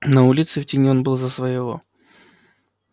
на улице в тени он был за своего